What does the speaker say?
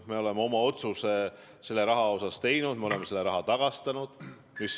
Me oleme oma otsuse selle raha kohta teinud, me oleme selle raha tagastanud.